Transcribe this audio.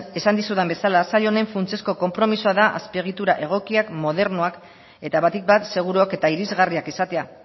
esan dizudan bezala sail honen funtsezkoa da azpiegitura egokiak modernoak eta batik bat seguru eta irisgarria izatea